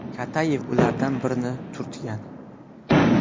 Katayev ulardan birini turtgan.